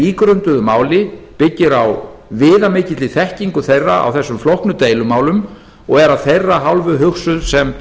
ígrunduðu máli byggir á viðamikilli þekkingu þeirra á þessum flóknu deilumálum og er af þeirra hálfu hugsuð sem